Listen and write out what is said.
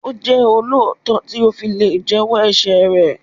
Ó jẹ́ olóòótọ́ tí ó fi lè jẹ́ wọ́ ẹ̀ṣẹ̀ rẹ̀.